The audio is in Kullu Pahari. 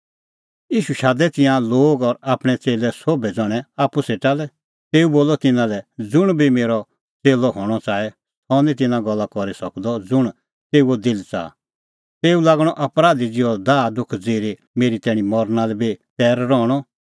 ईशू शादै तिंयां लोग और आपणैं च़ेल्लै सोभै ज़ण्हैं आप्पू सेटा लै तेऊ बोलअ तिन्नां लै ज़ुंण बी मेरअ च़ेल्लअ हणअ च़ाहे सह निं तिन्नां गल्ला करी सकदअ ज़ुंण तेऊओ दिल च़ाहा तेऊ लागणअ अपराधी ज़िहअ दाहदुख ज़िरी आपणअ क्रूस आपणीं कान्हा आप्पै च़कणअ